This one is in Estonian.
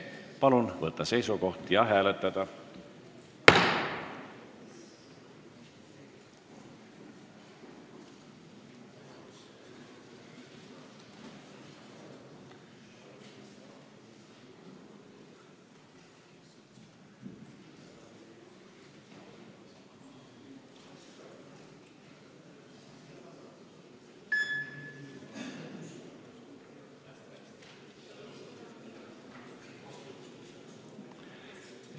Palun võtta seisukoht ja hääletada!